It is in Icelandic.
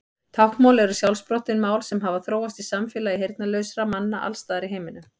Táknmál eru sjálfsprottin mál sem hafa þróast í samfélagi heyrnarlausra manna alls staðar í heiminum.